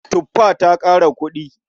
Tufa ta ƙara kuɗi.